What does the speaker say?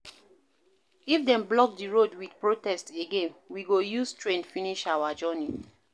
If dem block di road wit protest again, we go use train finish our journey.